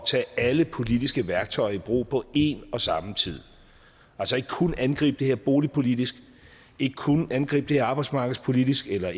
tage alle politiske værktøjer i brug på en og samme tid altså ikke kun angribe det her boligpolitisk ikke kun angribe det arbejdsmarkedspolitisk eller